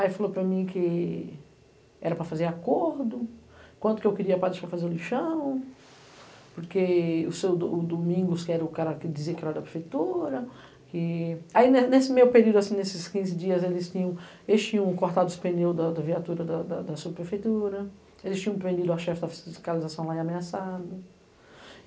Aí falou para mim que era para fazer acordo, quanto que eu queria para deixar fazer o lixão, porque o Domingos, que era o cara que dizia que era da prefeitura... Aí nesse meio período, nesses quinze dias, eles tinham cortado os pneus da viatura da subprefeitura, eles tinham prendido a chefe da fiscalização lá e ameaçado.